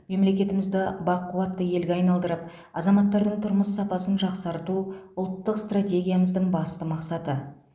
мемлекетімізді бақуатты елге айналдырып азаматтардың тұрмыс сапасын жақсарту ұлттық стратегиямыздың басты мақсаты